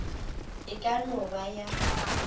e ka no ba ya